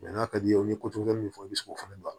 n'a ka d'i ye u ye min fɔ i bɛ se k'o fana don a la